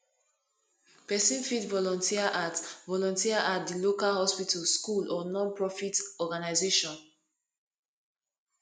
pesin fit volunteer at volunteer at di local hospital school or nonprofit organization